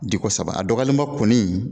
Di ko saba a dɔgɔyalenba kɔni